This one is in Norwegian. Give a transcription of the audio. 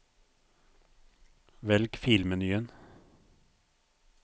velg filmenyen